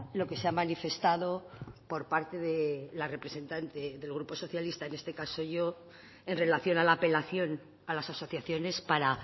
lo que se ha manifestado por parte de la representante del grupo socialista en este caso yo en relación a la apelación a las asociaciones para